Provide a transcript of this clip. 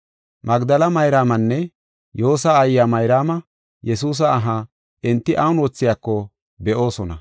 Magdela Mayraamanne Yoosa aayiya Mayraama Yesuusa aha enti awun moogidako be7oosona.